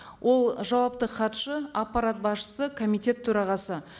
ол жауапты хатшы аппарат басшысы комитет төрағасы